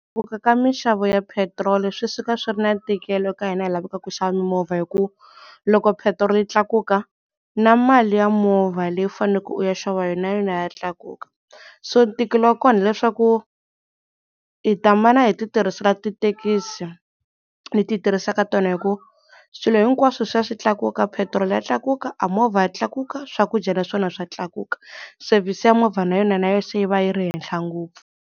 Ka minxavo ya petiroli swi suka swi ri na ntikelo ka hina hi lavaka ku xava mimovha hi ku loko petiroli yi tlakuka na mali ya movha leyi faneleke u ya xava yona na yona ya tlakuka so ntikelo wa kona hileswaku hi ta mana hi ti tirhisela tithekisi leti hi tirhisaka tona hi ku swilo hinkwaswo swi ya swi tlakuka, petiroli ya tlakuka, a movha ya tlakuka, swakudya naswona swa tlakuka. Sevhisi ya movha na yona na yo se yi va yi ri henhla ngopfu.